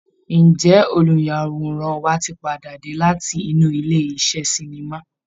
Ǹjẹ́ olùyàwòrán wa tí padà dé láti inú ilé iṣẹ́ sinimá?